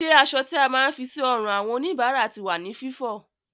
Ṣé aṣọ tí a máa ń fi sí ọrùn àwọn òníbára ti wà ní Fífọ?